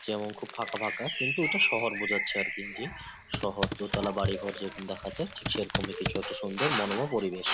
যেমন খুব ফাঁকা ফাঁকা। কিন্তু এটা শহর বোঝাচ্ছে আর কি শহর দোতলা বাড়িঘর যেরকম দেখা যায় ঠিক সেরকমই কিছু একটা সুন্দর মনোরম পরিবেশ ।